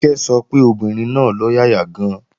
Kíkẹ́ sọ pé obìnrin náà lọ́yàyà gan-an